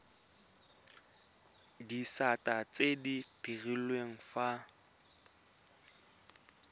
disata tse di direlwang fa